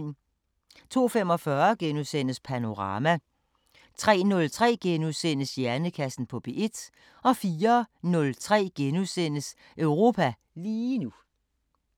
02:45: Panorama * 03:03: Hjernekassen på P1 * 04:03: Europa lige nu *